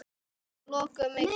Loka mig þar af.